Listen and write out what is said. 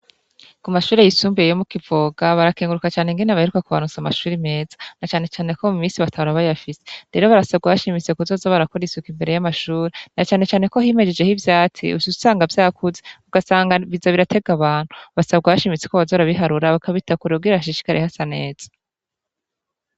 Ku mashure yisumbuye yi mu Kivoga, barakenguruka cane ingene baheruka kubaronsa amashure meza. Na cane cane ko mu minsi batahora bayafise. Rero barasabwa bashimitse kuzoza barakora isuku imbere y'amashure na cane cane ko himejeheho ivyatsi uca usanga vyakuze ugasanga biza birayltega abantu. Basabwa bashimitse ko boza barabiharura bakabitabkure kugira hashishikare hasa neza.